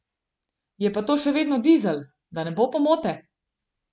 Je pa to še vedno dizel, da ne bo pomote!